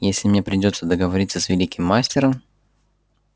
если мне придётся договариваться с великим мастером